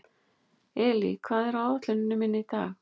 Elí, hvað er á áætluninni minni í dag?